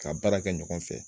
Ka baara kɛ ɲɔgɔn fɛ